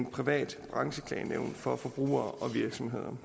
privat brancheklagenævn for forbrugere og virksomheder